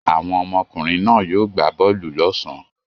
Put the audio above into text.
Àwọn ọmọkùnrin náà yóò gbá bọ́ọ́lù lọ́sàn-án.